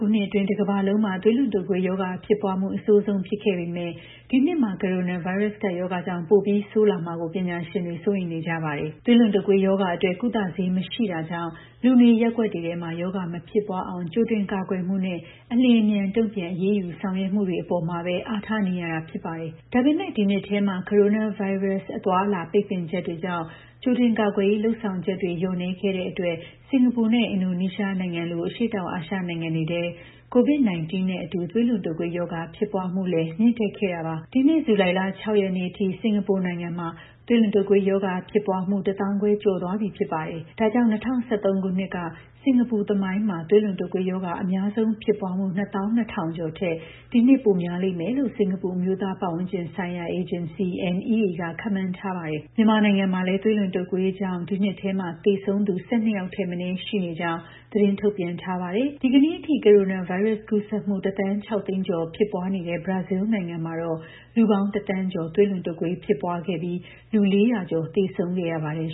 ခုနှစ်အတွင်း တကမ္ဘာလုံးမှာ သွေးလွန်တုပ်ကွေးရောဂါ ဖြစ်ပွားမှု အဆိုးဆုံး ဖြစ်ခဲ့ပေမယ့် ဒီနှစ်မှာ ကိုရိုနာဗိုင်းရပ်စ် ကပ်ရောဂါကြောင့် ပိုပြီးဆိုးလာမှာကို ပညာရှင်တွေ စိုးရိမ်နေကြပါတယ်။ သွေးလွန်တုပ်ကွေးရောဂါအတွက် ကုသဆေး မရှိတာကြောင့် လူနေရပ်ကွက်တွေထဲ ရောဂါမဖြစ်ပွားအောင် ကြိုတင်ကာကွယ်မှုနဲ့ အလျှင်အမြန် တုံ့ပြန်အရေးယူ ဆောင်ရွက်မှုတွေ အပေါ်မှာပဲ အားထားနေရတာ ဖြစ်ပါတယ်။ ဒါပေမယ့် ဒီနှစ်ထဲ ကိုရိုနာဗိုင်းရပ်စ် အသွားအလာ ပိတ်ပင်ချက်တွေကြောင့် ကြိုတင်ကာကွယ်ရေး လုပ်ဆောင်ချက်တွေ လျော့နည်းခဲ့တဲ့အတွက် စင်ကာပူနဲ့ အင်ဒိုနီးရှားနိုင်ငံလို အရှေ့တောင်အာရှ နိုင်ငံတွေထဲ COVID-19 နဲ့အတူ သွေးလွန်တုပ်ကွေးရောဂါ ဖြစ်ပွားမှုလည်း မြင့်တက်ခဲ့တာပါ။ ဒီနှစ် ဇူလိုင်လ ၆ ရက်နေ့အထိ စင်ကာပူနိုင်ငံမှာ သွေးလွန်တုပ်ကွေးရောဂါ ဖြစ်ပွားမှု တသောင်းခွဲကျော်သွားပြီ ဖြစ်ပါတယ်။ ဒါကြောင့် ၂၀၁၃ ခုနှစ်တုန်းက စင်ကာပူသမိုင်းမှာ သွေးလွန်တုပ်ကွေးရောဂါ အများဆုံးဖြစ်ပွားမှု ၂၂,၀၀၀ ကျော်ထက် ဒီနှစ် ပိုများလိမ့်မယ်လို့ စင်ကာပူ အမျိုးသားပတ်ဝန်းကျင်ဆိုင်ရာ အေဂျင်စီ (NEA) က ခန့်မှန်းထားပါတယ်။ မြန်မာနိုင်ငံမှာလည်း သွေးလွန်တုပ်ကွေးရောဂါကြောင့် ဒီနှစ်ထဲမှာ သေဆုံးသူ ၁၂ ယောက်ထက်မနည်း ရှိနေကြောင်း သတင်းထုတ်ပြန်ထားပါတယ်။ ဒီကနေ့အထိ ကိုရိုနာဗိုင်းရပ်စ် ကူးစက်မှု ၁,၆၀၀,၀၀၀ ကျော် ဖြစ်ပွားနေတဲ့ ဘရာဇီးနိုင်ငံမှာတော့ လူပေါင်း ၁,၀၀၀,၀၀၀ ကျော် သွေးလွန်တုပ်ကွေး ဖြစ်ပွားခဲ့ပြီး လူ ၄၀၀ ကျော် သေဆုံးခဲ့ရပါတယ်